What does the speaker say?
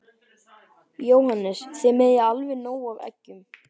Jóhannes: Þið eigið alveg nóg af eggjum?